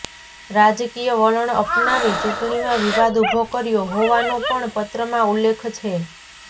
રાજકીય વલણ અપનાવી ચુંટણીમાં વિવાદ ઊભો કર્યો હોવાનો પણ પત્રમાં ઉલ્લેખ છે